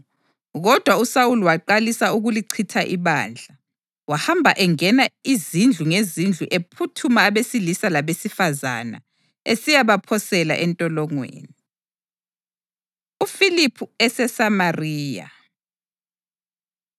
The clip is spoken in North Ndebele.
Kodwa uSawuli waqalisa ukulichitha ibandla. Wahamba engena izindlu ngezindlu ephuthuma abesilisa labesifazane esiyabaphosela entolongweni. UFiliphu EseSamariya